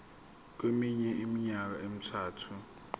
kweminye iminyaka emithathu